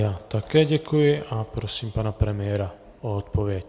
Já také děkuji a prosím pana premiéra o odpověď.